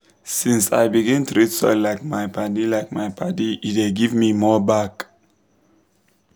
since i begin treat soil like my padi like my padi e dey give me more back.